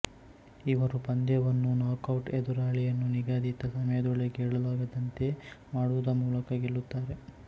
ಇವರು ಪಂದ್ಯವನ್ನು ನಾಕೌಟ್ಎದುರಾಳಿಯನ್ನು ನಿಗದಿತ ಸಮಯದೊಳಗೆ ಏಳಲಾಗದಂತೆ ಮಾಡುವುದುಮೂಲಕ ಗೆಲ್ಲುತ್ತಾರೆ